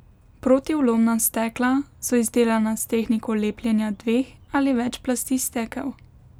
Protivlomna stekla so izdelana s tehniko lepljenja dveh ali več plasti stekel.